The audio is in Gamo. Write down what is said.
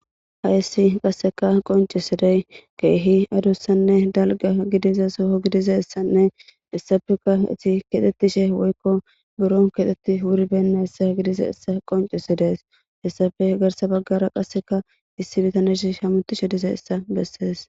Hayssi qasseka qoncisiday keehi adussanne dalga gidiza soho gidizassanne issafeka ati kexettishe woykko buron kexetti wuribenna issa gidiza issa qoncisidees hessafe garsa baggara qasseka issi bitanesh shamutishe diza issa bessees